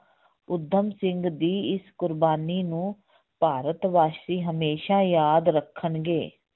ਊਧਮ ਸਿੰਘ ਦੀ ਇਸ ਕੁਰਬਾਨੀ ਨੂੰ ਭਾਰਤ ਵਾਸੀ ਹਮੇਸ਼ਾ ਯਾਦ ਰੱਖਣਗੇ।